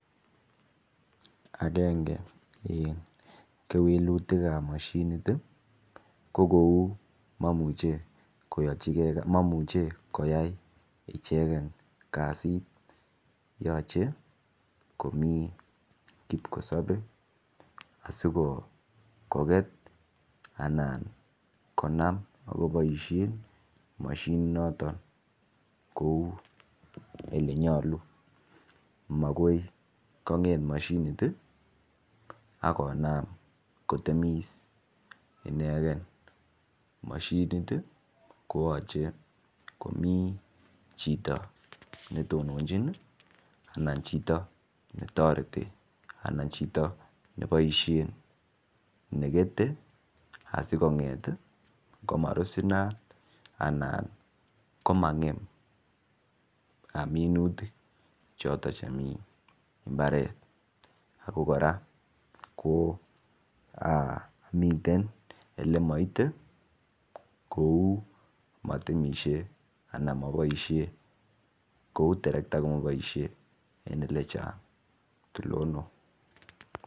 Angenge en kewelutikab moshinit ko kou momuche koyay ichegen kazit yoche komii kipkosobee asi koget anan konam akoboishen moshinit noton kouu ile nyoluu magoi kong'et moshinit ak konam kotemis inegen moshinit ii koyoche komii chito netonochin anan chito ne toreti anan chito ne boishen nekete asi kong'et komarus inat anan komangem minutik choton chemii imbaret ako koraa komiten ole moite kouu motemishe anan moboishe en elechang' tulonok